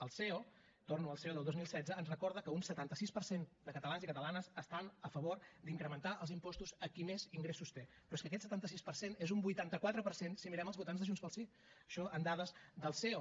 el ceo torno al ceo del dos mil setze ens recorda que un setanta sis per cent de catalans i catalanes estan a favor d’incrementar els impostos a qui més ingressos té però és que aquest setanta sis per cent és un vuitanta quatre per cent si mirem els votants de junts pel sí això amb dades del ceo